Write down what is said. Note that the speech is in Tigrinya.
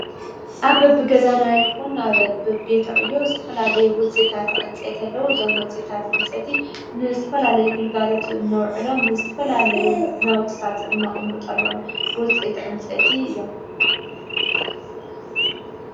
ኣ ብ ኣብ ገዛናይኹን ኣብ ኣብቤትዕዮ እዝትፈላለይ ውፅ እታትዕንጸ የተለዉ ዘም ወፂታት ዕንፀቲ ንዝትፈላለይ ግልጋለቱ እነውዕሎም ስትፈላለይ ናውትታት እናቕሙጠሎም ውፅ ተ ዕንጸቲ እዮም።